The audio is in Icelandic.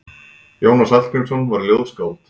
Jónas Hallgrímsson var ljóðskáld.